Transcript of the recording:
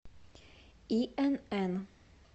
инн